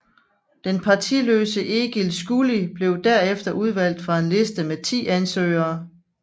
Den partiløse Egil Skúli blev derefter udvalgt fra en liste med ti ansøgere